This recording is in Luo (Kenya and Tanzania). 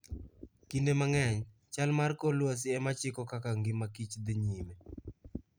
Kinde mang'eny, chal mar kor lwasi e ma chiko kaka ngima Kich dhi nyime.